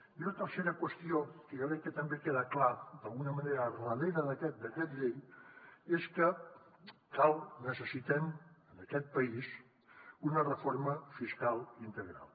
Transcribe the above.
i una tercera qüestió que jo crec que també queda clara d’alguna manera darrere d’aquest decret llei és que cal necessitem en aquest país una reforma fiscal integral